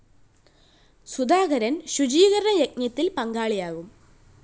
സുധാകരന്‍ ശുചീകരണ യജ്ഞത്തില്‍ പങ്കാളിയാകും